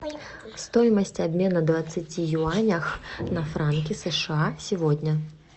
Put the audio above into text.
стоимость обмена двадцати юаней на франки сша сегодня